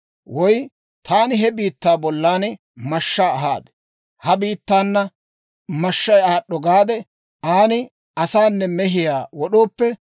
«Woy taani he biittaa bollan mashshaa ahaade, Ha biittaana mashshay aad'd'o gaade, an asaanne mehiyaa wod'ooppe,